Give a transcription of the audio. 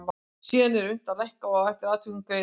sem síðan er unnt að lækka og eftir atvikum greiða út.